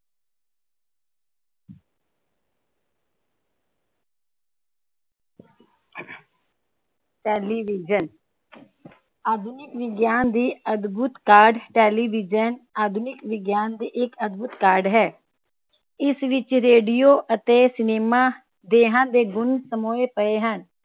television ਆਧੁਨਿਕ ਵਿਗਿਆਨ ਦੀ ਅਧਭੁਤ ਕਾਢ ਟੇਲੀਵਿਜਨ ਆਧੁਨਿਕ ਵਿਗਿਆਨ ਦੀ ਅਧਭੁਤ ਕਾਢ ਹੈ ਇਸ ਵਿਚ ਰੇਡੀਓ ਤੇ ਸਿਨੇਮਾ ਦੋਹਾਂ ਦੇ ਗੁਣ ਸਮੋਹੇ ਪਏ ਹਨ